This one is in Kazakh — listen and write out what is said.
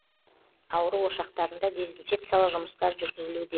ауру ошақтарында дезинфекциялық жұмыстар жүргізілуде